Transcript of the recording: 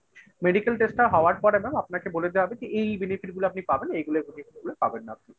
medical test টা হওয়ার পর এবং আপনাকে বলে দেওয়া হবে যে এই benefit গুলো আপনি পাবেন এইগুলো পাবেন না।